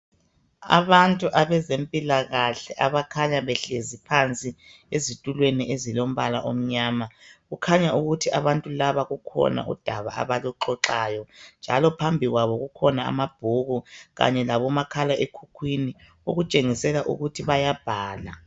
Abantu abezempilakahle abakhanya behlezi phansi ezitulweni ezilombala omnyama, kukhanya ukuthi abantu laba kukhona udaba abaluxoxayo, njalo phambi kwabo kukhona amabhuku kanye labomakhalekhukhwini, okutshengisela ukuthi bayabhala.